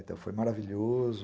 Então foi maravilhoso.